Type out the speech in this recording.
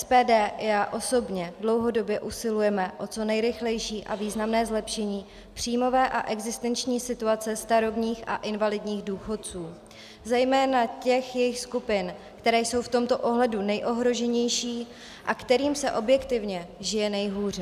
SPD i já osobně dlouhodobě usilujeme o co nejrychlejší a významné zlepšení příjmové a existenční situace starobních a invalidních důchodců, zejména těch jejich skupin, které jsou v tomto ohledu nejohroženější a kterým se objektivně žije nejhůře.